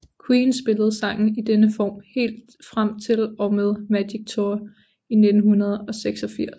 Queen spillede sangen i denne form helt frem til og med Magic Tour i 1986